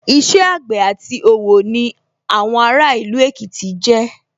Iṣẹ́ àgbẹ̀ àti òwò ni àwọn ará ìlú Èkìtì jẹ́